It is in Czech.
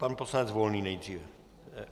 Pan poslanec Volný nejdříve.